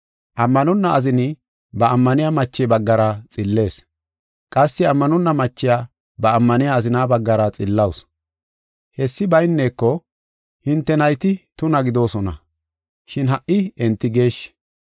Ammanonna azini ba ammaniya mache baggara xillees; qassi ammanonna machiya ba ammaniya azina baggara xillawusu. Hessi bayneko, hinte nayti tuna gidoosona, shin ha77i enti geeshshi.